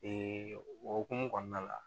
o hokumu kɔnɔna la